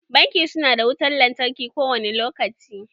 Banki su na da wutan lantarki kowane lokaci